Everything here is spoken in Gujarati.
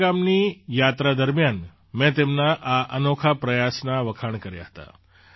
માણા ગામની યાત્રા દરમિયાન મેં તેમના આ અનોખા પ્રયાસના વખાણ કર્યા હતા